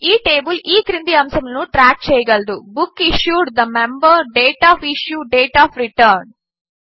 ఈ టేబిల్ ఈ క్రింది అంశములను ట్రాక్ చేయగలదు book issued the member date of issue date of return